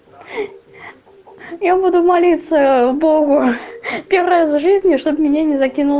я буду молиться богу первый раз в жизни чтобы меня не закинул